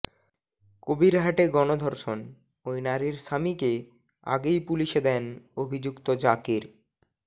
কবিরহাটে গণধর্ষণ ওই নারীর স্বামীকে আগেই পুলিশে দেন অভিযুক্ত জাকের